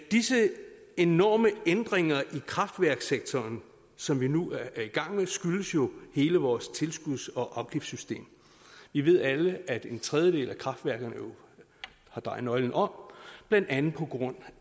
disse enorme ændringer i kraftværkssektoren som vi nu er i gang med skyldes jo hele vores tilskuds og afgiftssystem vi ved alle at en tredjedel af kraftværkerne jo har drejet nøglen om blandt andet på grund